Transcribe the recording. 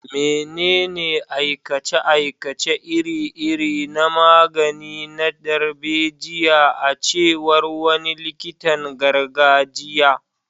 Menene aikace-aikace iri-iri na magani na darbejiya, a cewar wani likitan gargajiya?